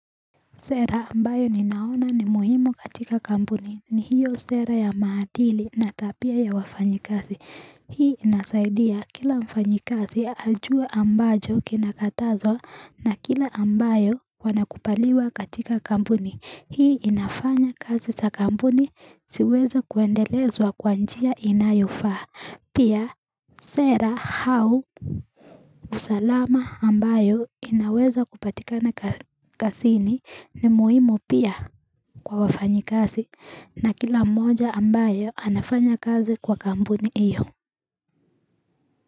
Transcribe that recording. Sera ambayo ninaona ni muhimu katika kampuni ni hiyo sera ya maadili na tabia ya wafanyikazi. Hii inasaidia kila mfanyikazi ajue ambacho kinakatazwa na kile ambayo wanakubaliwa katika kampuni. Hii inafanya kazi za kampuni ziweze kuendelezwa kwa njia inayofa. Pia sera au usalama ambao unaweza kupatikana kazini ni muhimu pia kwa wafanyikazi na kila mmoja ambaye anafanya kazi kwa kampuni iyo.